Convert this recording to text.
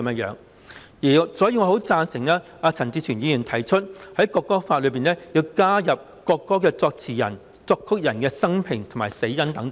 因此，我很贊成陳志全議員提出的修正案，應該在《條例草案》中加入國歌作詞人及作曲人的生平及死因等。